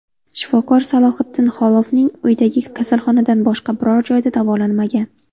Shifokor Salohiddin Xolovning uyidagi kasalxonadan boshqa biror joyda davolanmagan.